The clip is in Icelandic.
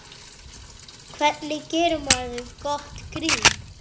Hvernig gerir maður gott grín?